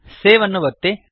save ಅನ್ನು ಒತ್ತಿ